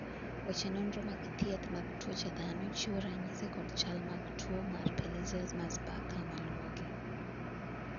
weche nonro mag thieth mag tuoche dhano chiwo ranyisi kod chal mag tuo mar Pelizaeus Merzbacher maluwogi